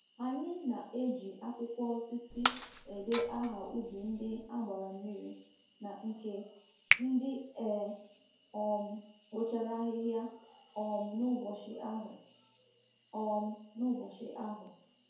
Anyị na-eji akwụkwọ osisi ede aha ubi ndị a gbara mmiri na nke ndị e um kpochara ahịhịa um n’ụbọchị ahụ. um n’ụbọchị ahụ.